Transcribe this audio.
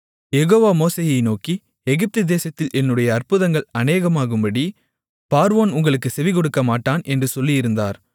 யெகோவா மோசேயை நோக்கி எகிப்து தேசத்தில் என்னுடைய அற்புதங்கள் அநேகமாகும்படி பார்வோன் உங்களுக்குச் செவிகொடுக்கமாட்டான் என்று சொல்லியிருந்தார்